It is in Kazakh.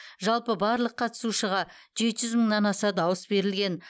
жалпы барлық қатысушыға жеті жүз мыңнан аса дауыс берілген